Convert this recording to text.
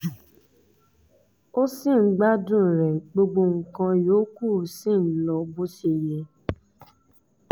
o ṣì ń gbádùn rẹ̀ gbogbo nǹkan yòókù sì ń lọ bó ṣe yẹ